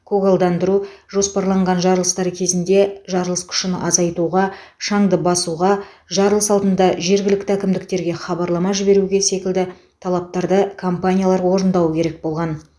көгалдандыру жоспарланған жарылыстар кезінде жарылыс күшін азайтуға шаңды басуға жарылыс алдында жергілікті әкімдіктерге хабарлама жіберу секілді талаптарды компаниялар орындауы керек болған